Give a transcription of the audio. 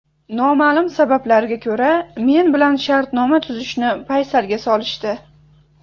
Noma’lum sabablarga ko‘ra men bilan shartnoma tuzishni paysalga solishdi.